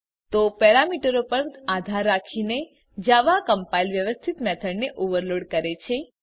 તો પેરામીટરો પર આધાર રાખીને જાવા કમ્પાઈલર વ્યવસ્થિત મેથડને ઓવેરલોડ કરે છે